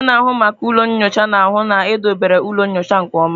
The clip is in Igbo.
Onye na-ahụ maka ụlọ nyocha na-ahụ na edobere ụlọ nyocha nke ọma.